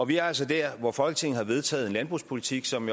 vi er altså der hvor folketinget har vedtaget en landbrugspolitik som